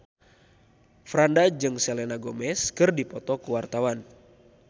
Franda jeung Selena Gomez keur dipoto ku wartawan